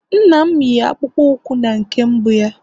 nna m yi akpụkpọ ụkwụ na nke mbụ ya